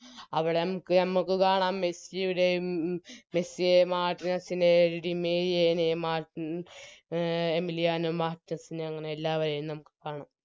അവിടെ മ്മാക്ക് ഞമ്മക്ക് കാണാം മെസ്സിയുടെയും മെസ്സിയെയും മാർട്ടിനെസ്സിനെയും ഡിമേരിയേനേയും മാർട്ടിൻ അഹ് എമിലിയാനോ മാർട്ടെസ്സിനെ അങ്ങനെ എല്ലാവരെയും നമുക്ക് കാണാം